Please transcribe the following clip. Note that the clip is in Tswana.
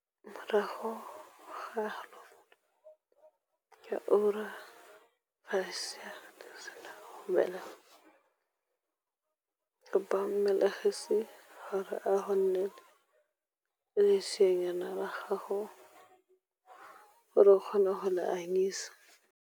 Morago ga halofo ya ura fa lesea le sena go belegwa kopa mmelegisi gore a go neele leseanyana la gago gore o kgone go le anyisa.